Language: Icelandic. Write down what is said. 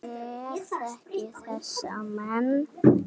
Ég þekki þessa menn.